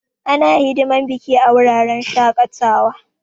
Ana hidiman biki a wuraren shaƙatawa.